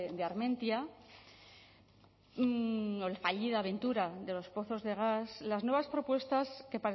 de armentia o la fallida aventura de los pozos de gas las nuevas propuestas que